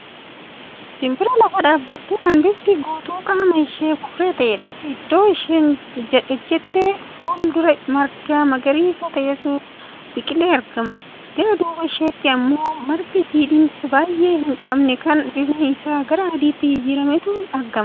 Simbira lafa dhaabbattu Kan bifti guutuu qaama ishee burree ta'eedha. iddoo isheen ijjatte fuul-dura marga magariisa ta'etu biqilee argama. gara duuba isheetti ammoo marga jiidhinsa baay'ee hin qabne Kan bifni Isaa gara adiitti jijjiirameetu argama.